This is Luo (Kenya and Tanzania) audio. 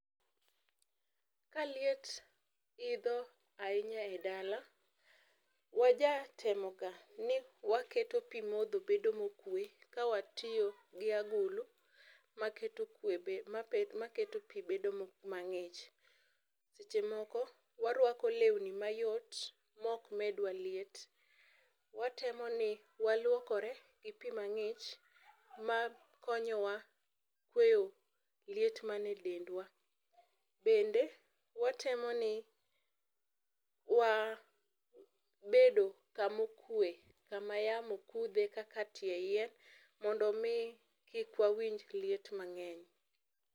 ka liet idho ahinya e dala, waja temo ga ni waketo pii modho bedo mokue ka watiyo gi agulu maketo kwe bedo maketo pii bedo mang'ich. Seche moko , warwako lewni mayot mok medwa liet. Watemo ni waluokore gi pii mang'iny makonyowa kweyo liet man e dendwa. Bende watemo ni wa bedo kamo kwe kama yamo kudhe kaka tie yien mondo mii kik wawinj liet mang'eny.